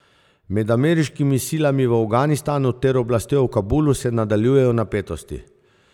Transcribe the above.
Med ameriškimi silami v Afganistanu ter oblastjo v Kabulu se nadaljujejo napetosti.